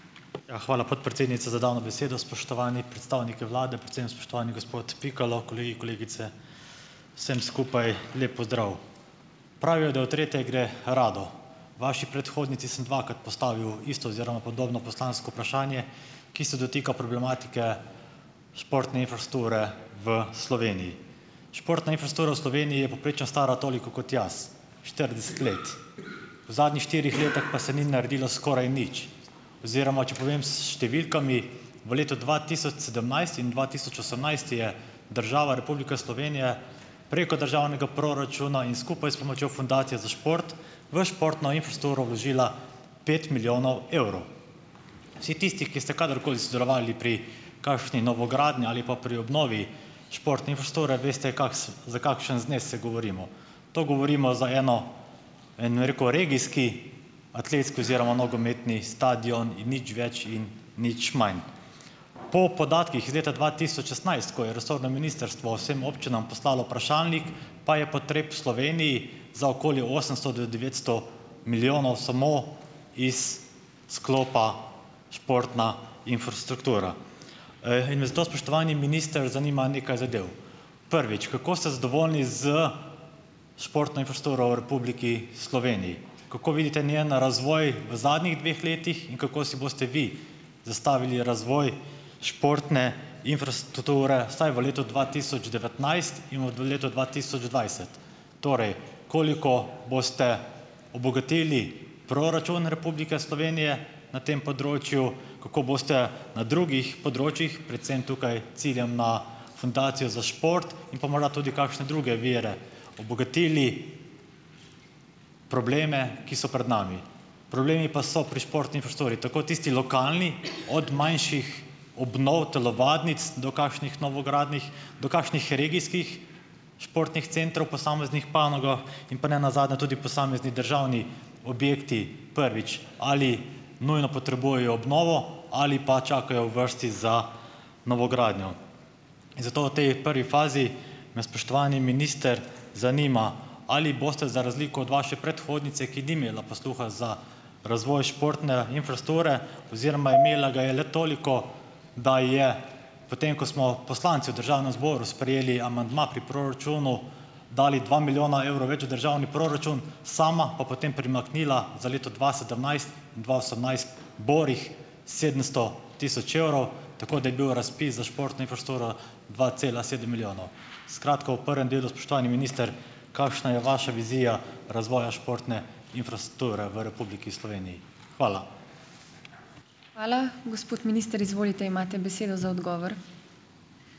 Ja, hvala podpredsednica za dano besedo. Spoštovani predstavniki vlade, predvsem spoštovani gospod Pikalo, kolegi, kolegice, vsem skupaj lep pozdrav! Pravijo, da v tretje gre rado. Vaši predhodnici sem dvakrat postavil isto oziroma podobno poslansko vprašanje, ki se dotika problematike športne infrastrukture v Sloveniji. Športna infrastruktura v Sloveniji je povprečno stara toliko kot jaz, štirideset let. V zadnjih štirih letih pa se ni naredilo skoraj nič oziroma, če povem s številkami, v letu dva tisoč sedemnajst in dva tisoč osemnajst je država Republika Slovenije preko državnega proračuna in skupaj s pomočjo Fundacije za šport v športno infrastrukturo vložila pet milijonov evrov. Vsi tisti, ki ste kadarkoli sodelovali pri kakšni novogradnji ali pa pri obnovi športne infrastrukture, veste, za kakšen znesek govorimo. To govorimo za eno, en, rekel, regijski, atletski oziroma nogometni stadion in nič več in nič manj. Po podatkih iz leta dva tisoč šestnajst, ko je resorno ministrstvo vsem občinam poslalo vprašalnik, pa je potreb v Sloveniji za okoli osemsto do devetsto milijonov samo iz sklopa športna infrastruktura. in me zato, spoštovani minister, zanima nekaj zadev. Prvič, kako ste zadovoljni s športno infrastrukturo v Republiki Sloveniji? Kako vidite njen razvoj v zadnjih dveh letih in kako si boste vi zastavili razvoj športne infrastrukture vsaj v letu dva tisoč devetnajst in v, letu dva tisoč dvajset? Torej, koliko boste obogatili proračun Republike Slovenije na tem področju? Kako boste na drugih področjih, predvsem tukaj ciljam na Fundacijo za šport in pa morda tudi kakšne druge vire obogatili probleme, ki so pred nami? Problemi pa so pri športni infrastrukturi, tako tisti lokalni - od manjših obnov telovadnic do kakšnih novogradenj, do kakšnih regijskih športnih centrov posameznih panogah in pa nenazadnje tudi posamezni državni objekti. Prvič, ali nujno potrebujejo obnovo ali pa čakajo v vrsti za novogradnjo? In zato v tej prvi fazi me, spoštovani minister, zanima, ali boste za razliko od vaše predhodnice, ki ni imela posluha za razvoj športne infrastrukture, oziroma imela ga je le toliko, da je potem, ko smo poslanci v državnem zboru sprejeli amandma pri proračunu, dali dva milijona evrov več v državni proračun, sama pa potem primaknila za leto dva sedemnajst- dva osemnajst borih sedemsto tisoč evrov, tako da je bil razpis za športno infrastrukturo dva cela sedem milijonov. Skratka, v prvem delu, spoštovani minister, kakšna je vaša vizija razvoja športne infrastrukture v Republiki Sloveniji? Hvala.